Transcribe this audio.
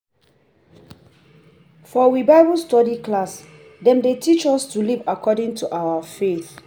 For we Bible study class, dem dey teach us to live according to our faith